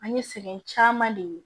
An ye sɛgɛn caman de ye